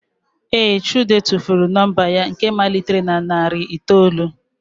Ee, chude tụfuru nọmba ya nke malitere na narị itoolu.